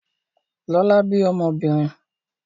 Lọlá bí ọmọbìnrin.